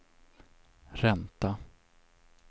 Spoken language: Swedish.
ränta